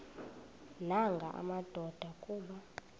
nanga madoda kuba